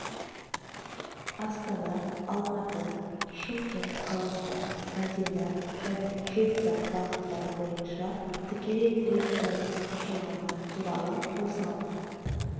астана алматы шымкент қаласынан мәдина және жидда бағыттары бойынша тікелей рейстердің ашылғаны туралы осыған